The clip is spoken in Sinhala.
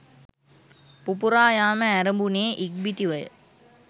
පුපුරා යාම ඇරඹුණේ ඉක්බිතිවය.